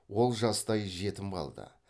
ол жастай жетім қалды